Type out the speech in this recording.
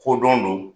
Kodɔn don